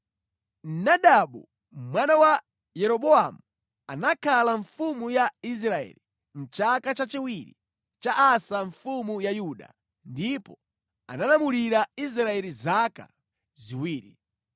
Nadabu, mwana wa Yeroboamu anakhala mfumu ya Israeli mʼchaka chachiwiri cha Asa mfumu ya Yuda, ndipo analamulira Israeli zaka ziwiri.